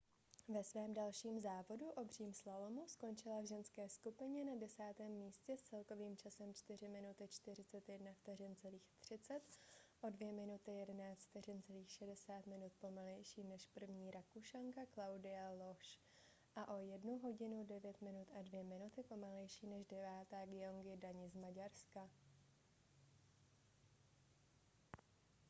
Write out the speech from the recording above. ve svém dalším závodu obřím slalomu skončila v ženské skupině na desátém místě s celkovým časem 4:41,30 o 2:11,60 minut pomalejší než první rakušanka claudia loesch a o 1: 09,02 minut pomalejší než devátá gyöngyi dani z maďarska